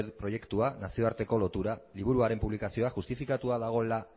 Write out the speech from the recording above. proiektua nazioarteko lotura liburuaren publikazioa justifikatua dagoela